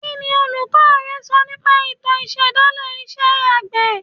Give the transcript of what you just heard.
Kí ni olùkọ́ rẹ sọ nípa ìtàn ìṣẹ̀dálẹ̀ iṣẹ́ àgbẹ̀